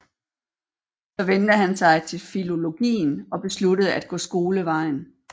Så vendte han sig til filologien og besluttede at gå skolevejen